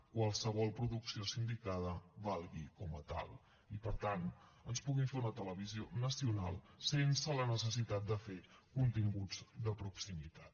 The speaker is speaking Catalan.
qualsevol producció sindicada valgui com a tal i per tant ens puguin fer una televisió nacional sense la necessitat de fer continguts de proximitat